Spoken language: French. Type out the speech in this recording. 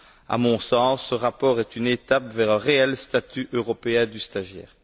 À mon sens, ce rapport est une étape vers un réel statut européen du stagiaire.